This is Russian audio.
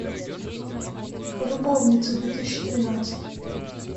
любовницы две тысячи тринадцать